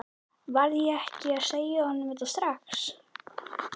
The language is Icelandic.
Varð ég ekki að segja honum þetta strax?